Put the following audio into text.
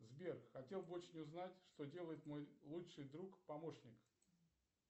сбер хотел бы очень узнать что делает мой лучший друг помощник